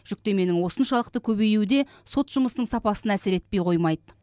жүктеменің осыншалықты көбеюі де сот жұмысының сапасына әсер етпей қоймайды